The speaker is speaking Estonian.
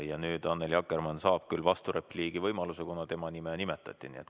Ja Annely Akkermann saab vasturepliigi võimaluse, kuna tema nime nimetati.